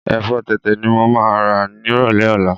Ẹ̀fọ́ tẹ̀tẹ̀ ni mo máa rà nírọ̀lẹ́ ọ̀la.